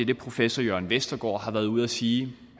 det professor jørn vestergaard har været ude at sige